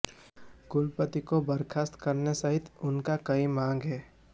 कुलपति को बर्खास्त करने सहित उनकी कई मांगे हैं